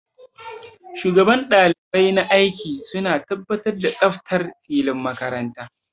Shugaban ɗalibai na aiki suna tabbatar da tsaftar filin makaranta